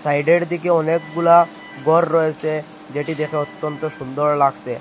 Side -এর দিকে অনেকগুলা গড় রয়েসে যেটি দেখে অত্যন্ত সুন্দর লাগসে।